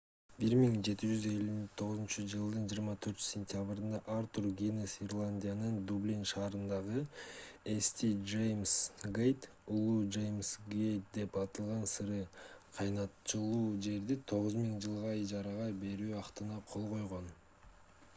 1759-жылдын 24-сентябрында артур гиннес ирландиянын дублин шаарындагы st james gate улуу жеймс гейт деп аталган сыра кайнатылуучу жерди 9000 жылга ижарага берүү актына кол койгон